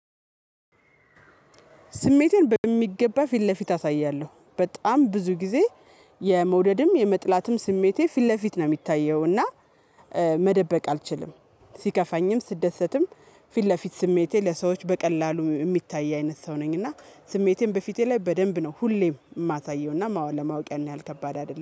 ስሜቴን በሚገባ ፊት ለፊት አሳያለሁ በጣም ብዙ ጊዜ የመውደድም የመጥላትም ስሜቴ ፊት ለፊት ነው የሚታየው። እና መደበቅ አልችልም። ሲከፋኝም ስደሰትም ፊት ለፊት ስሜቴ ለሰዎች በቀላሉ የሚታይ አይነት ሰው ነኝ። እና ስሜቴን በፊቴ ላይ በደንብ ነው ሁሌም የማሳየውና ማወ ለማወቅ ያን ያህል ከባድ አይደለም